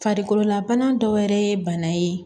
Farikololabana dɔ wɛrɛ ye bana ye